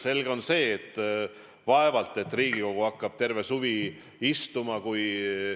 Selge on see, et ilmselt ei hakka Riigikogu siin terve suvi istuma, vaevalt küll.